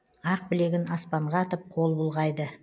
ақ білегін аспанға атып қол бұлғайды